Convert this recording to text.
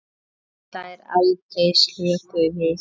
Hún slær aldrei slöku við.